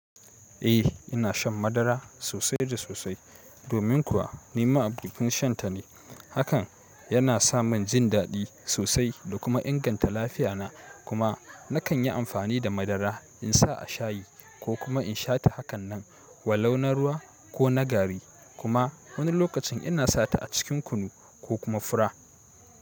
Eh ina shan madara sosai da sosai domin kuwa ni ma'abocin shan ta ne. Hakan yana sa min jin daɗi sosai da kuma inganta lafiya na. Kuma nakan yi amfani da madara in sa a shayi ko kuma in sha ta hakanan walau na ruwa ko na gari kuma wani lokacin ina sa ta a cikin kunu ko kuma fura.